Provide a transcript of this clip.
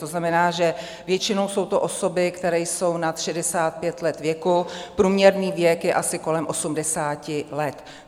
To znamená, že většinou jsou to osoby, které jsou nad 65 let věku, průměrný věk je asi kolem 80 let.